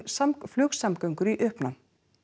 flugsamgöngur í uppnám